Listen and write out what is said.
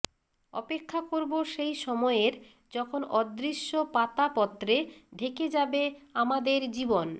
অপেক্ষা করব সেই সময়ের যখন অদৃশ্য পাতাপত্রে ঢেকে যাবে আমাদের জীবন